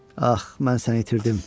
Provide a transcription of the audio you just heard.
Ax, mən səni itirdim.